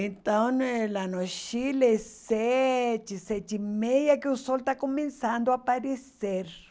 Então eh lá no Chile, sete, sete e meia, que o sol está começando a aparecer.